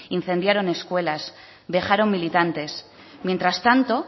incendiaron escuelas dejaron militantes mientras tanto